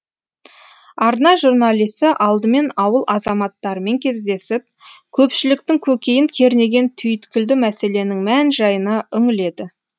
арна журналисі алдымен ауыл азаматтарымен кездесіп көпшіліктің көкейін кернеген түйткілді мәселенің мән жайына үңіледі